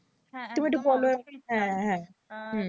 তুমি একটু বোলো